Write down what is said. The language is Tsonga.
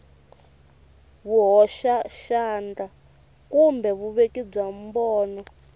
vuhoxaxandla kumbe vuveki bya mbono